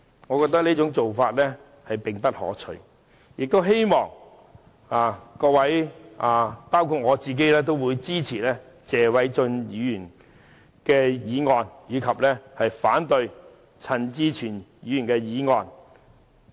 我認為這做法並不可取，也希望各位——包括我自己——支持謝偉俊議員的議案，並反對陳志全議員提出的議案。